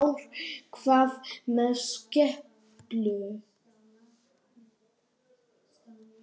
Kristján Már: Hvað með skepnur?